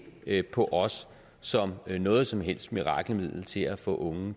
ikke på os som noget som helst mirakelmiddel til at få unge